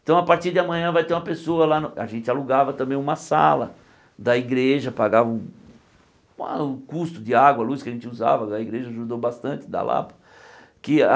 Então a partir de amanhã vai ter uma pessoa lá no, a gente alugava também uma sala da igreja, pagava o a o custo de água, luz que a gente usava, a igreja ajudou bastante, da Lapa. Que a